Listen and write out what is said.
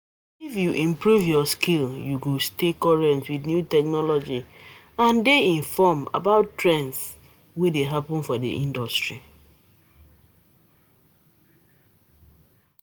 If you improve your skill, you go stay current with new technology, and dey informed about trends for di industry.